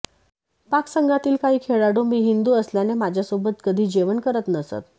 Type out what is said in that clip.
पाक संघातील काही खेळाडू मी हिंदू असल्याने माझ्यासोबत कधी जेवण करत नसत